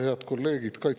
Head kolleegid!